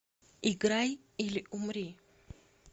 играй или умри